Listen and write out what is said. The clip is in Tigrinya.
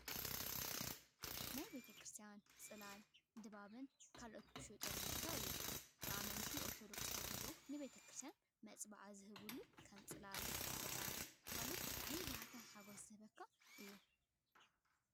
ናይ ቤተ-ክርስትያን ፅላልን ድባብን ካልኦትን ዝሽየጠሉ ቦታ እዩ። ብኣመንቲ ኦርቶዶክስ ተዋህዶ ንቤተ-ክርስትያን መፅባዓ ዝህቡሉ ከም ፅላልን ዕጣንን ካልእን ብጣዕሚ ባህታን ሓጎስን ዝህበካ እዩ።